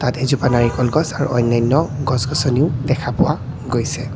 এজোপা নাৰিকল গছ আৰু আন্যান্য গছ-গছনিও দেখা পোৱা গৈছে।